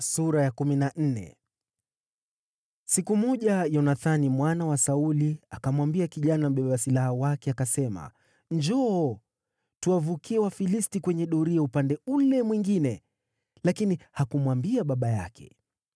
Siku moja Yonathani mwana wa Sauli akamwambia kijana mbeba silaha wake, akasema, “Njoo, tuwavukie Wafilisti kwenye doria upande ule mwingine.” Lakini hakumwambia baba yake.